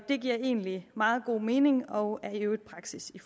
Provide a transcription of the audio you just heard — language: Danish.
det giver egentlig meget god mening og er i øvrigt praksis i